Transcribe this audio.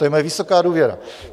To je moje vysoká důvěra.